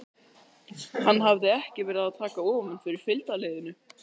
Hann hafði ekki verið að taka ofan fyrir fylgdarliðinu.